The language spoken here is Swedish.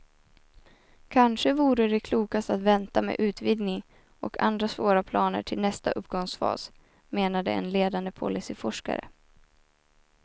Kanske vore det klokast att vänta med utvidgning och andra svåra planer till nästa uppgångsfas, menade en ledande policyforskare.